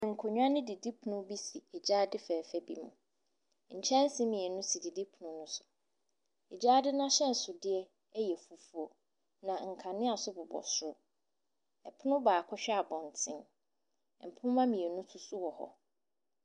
Nkonnwa ne didi pono bi si egyaade fɛɛfɛ bi mu. Kyɛnsee mmienu ɛsi didi pono no so. Egyaade n'ahyɛnsodeɛ ɛyɛ fufuo na nkanea nso bobɔ soro. Ɛpono baako hwɛ abɔnten. Mpoma mmienu so so wɔ hɔ.